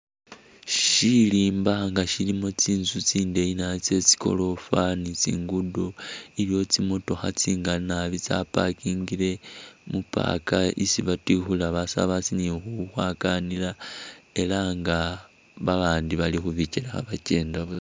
Shilimba nga shilimo tsinzu tsindeyi naabi tsetsi goorofa ni tsiguddo iliwo tsi'motokha tsingali naabi tsa'parkingile mu'park isi batikhulila basabasi nikhukhwakanila, elah nga babandi balikhubichele khabachenda